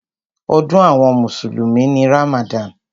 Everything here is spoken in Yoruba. Ọdún àwọn mùsùlùmí ni Ramadan.